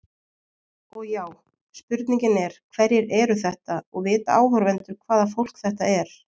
Og já, spurningin er hverjir eru þetta og vita áhorfendur hvaða fólk þetta er?